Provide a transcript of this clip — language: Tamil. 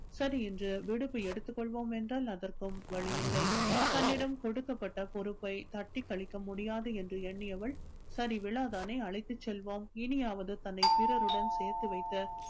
சரி என்று விடுப்பு எடுத்துக் கொள்வோம் என்றால் அதற்கும் வழியில்லை தன்னிடம் கொடுக்கப்பட்ட பொறுப்பை தட்டிக் கழிக்க முடியாது என்று எண்ணியவள் சரி விழாதானே அழைத்துச் செல்வோம் இனியாவது தன்னை பிறருடன் சேர்த்து வைத்து